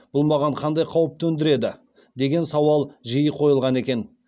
бұл маған қандай қауіп төндіреді деген сауал жиі қойылған екен